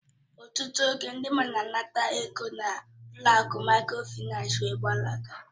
Ọtụtụ oge, ndị mmadụ na-anata ego n'ụlọ akụ Mikrofaịnsi wee gbalaga